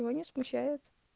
все не смущает